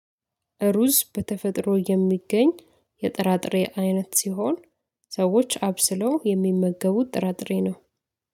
ሩዝ በተፈጥሮ የሚገኝ የጥራጥሬ አይነት ሲሆን ሰዎች አብስለው የሚመገቡት ጥራጥሬ ነው